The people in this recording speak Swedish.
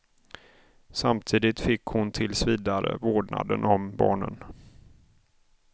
Samtidigt fick hon tills vidare vårdnaden om barnen.